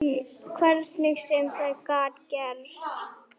Hvernig sem það gat gerst.